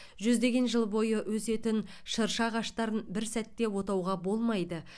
жүздеген жыл бойы өсетін шырша ағаштарын бір сәтте отауға болмайды